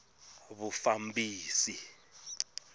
vufambisi